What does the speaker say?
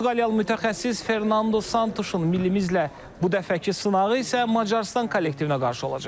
Portuqaliyalı mütəxəssis Fernando Santuşun millimizlə bu dəfəki sınağı isə Macarıstan kollektivinə qarşı olacaq.